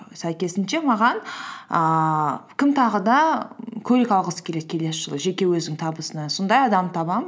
сәйкесінше маған ііі кім тағы да көлік алғысы келеді келесі жылы жеке өзінің табысынан сондай адамды табамын